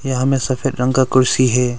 यह में सफेद रंग का कुर्सी हे।